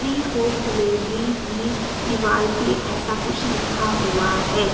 Free home delivery भी दीवाल पे ऐसा कुछ लिखा हुवा हैं।